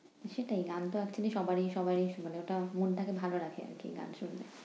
সেটাই গানতো আসলে সবারই সবাই শুনে, ওটা মনটাকে ভালো রাখে আরকি গান শুনলে।